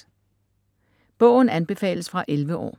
Bogen anbefales fra 11 år.